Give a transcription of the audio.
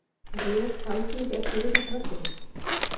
Réð Alþingi ekki við þetta verkefni?